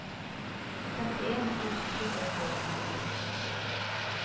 trettien tusen to hundre og fire